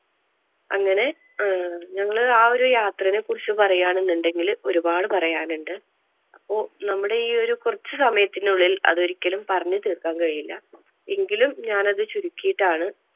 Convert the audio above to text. അങ്ങനെ അഹ് ഞങ്ങള് ആ ഒരു യാത്രെനെ കുറിച്ച് പറയാനെന്നെണ്ടെങ്കിൽ ഒരുപാട് പറയാൻ ഉണ്ട്. അപ്പോൾ നമ്മുടെ ഈ ഒരു കുറച്ചു സമയത്തിനുള്ളിൽ അത് ഒരിക്കലും പറഞ്ഞു തീർക്കാൻ കഴിയില്ല. എങ്കിലും ഞാൻ അത് ചുരുക്കിട്ടാണ്